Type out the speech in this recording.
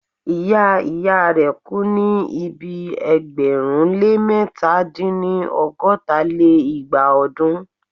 ìyá ìyá rẹ̀ kú ní ibi ẹgbẹ̀rún lé mẹ̀ta dín-ní- ọgọ́ta lé igba ọdún.